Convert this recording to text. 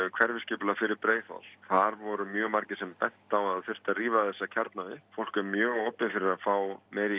hverfisskipulagi um Breiðholt þar voru mjög margir sem bentu á að það þyrfti að rífa þessa kjarna upp fólk var mjög opið fyrir að fá meiri